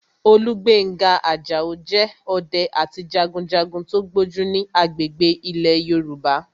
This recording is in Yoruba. Olúgbénga Àjàó jẹ́ ọdẹ àti jagunjagun tó gbójú ní agbègbè ilẹ̀ Yorùbá